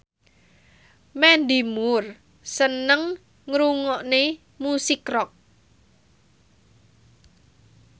Mandy Moore seneng ngrungokne musik rock